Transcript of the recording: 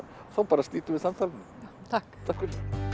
þá bara slítum við samtalinu takk takk fyrir